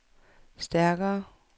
stærkere